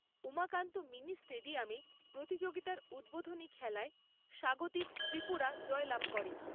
Umakanta mini স্টেডিয়ামে প্রতিযোগিতার উদ্বোধনী খেলায় স্বাগতিক ত্রিপুরা জয়লাভ করে।